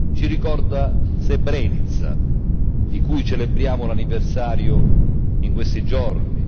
Ci ricorda Srebrenica, di cui celebriamo l'anniversario in questi giorni.